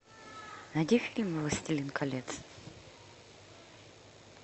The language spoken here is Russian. найди фильм властелин колец